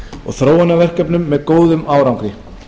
og þróunarverkefnum með góðum árangri